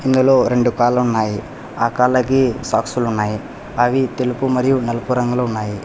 ఇందులో రెండు కాళ్లు ఉన్నాయి ఆ కాళ్లకి సాక్సులు ఉన్నాయి అవి తెలుపు మరియు నలుపు రంగులో ఉన్నాయి.